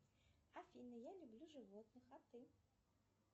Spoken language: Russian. афина я люблю животных а ты